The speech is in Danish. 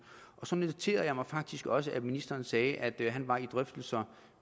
så noterede jeg mig faktisk også at ministeren sagde at han var i drøftelser